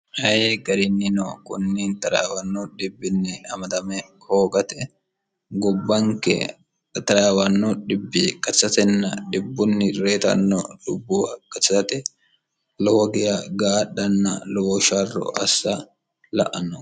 hayi gariinni no kunni xrwanno dhbbn mdm hoogate gubbanke taraawanno dhibbi qatsatenna dhibbunni reyitanno lubbuuwa qatsate lowogiya gaadhanna lowo sharro assa la anno